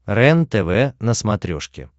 рентв на смотрешке